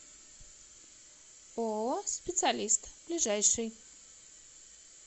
ооо специалист ближайший